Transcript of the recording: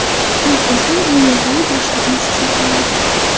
U bizning u yerdagi boshlig‘imiz hisoblanadi.